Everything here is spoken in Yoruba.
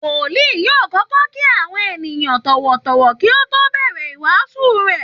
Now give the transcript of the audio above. Wòlíì yóò kọ́kọ́ kí àwọn èèyàn tọ̀wọ̀tọ̀wọ̀ kí ó tó bẹ̀rẹ̀ ìwáásù rẹ̀